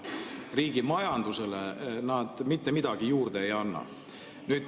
Riigi majandusele nad mitte midagi juurde ei anna.